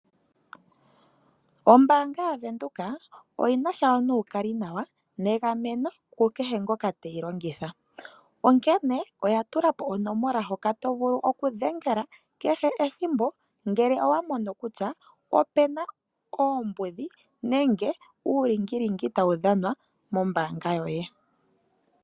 Ombaanga yaWindhoek oyina sha nuukalinawa negameno ku kehe ngoka teyi longitha. Oya tula po onomola hoka to vulu okudhengela kehe ethimbo ngele owamono puna oombudhi nenge uulingilingi tawu dhanwa mombaanga yoye.